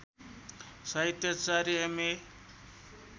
साहित्याचार्य M A